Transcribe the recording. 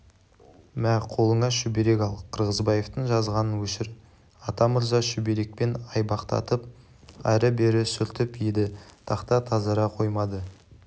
мә қолыңа шүберек ал қырғызбаевтың жазғанын өшір атамырза шүберекпен айбақтатып ары-бері сүртіп еді тақта тазара қоймады